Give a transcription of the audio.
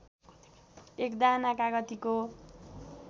एक दाना कागतीको